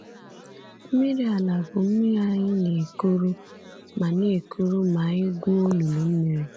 Mmiri ala bụ mmiri anyị na-ekuru ma na-ekuru ma anyị gwuo olulu mmiri.